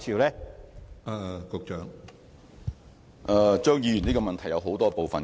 張議員的補充質詢包含很多部分。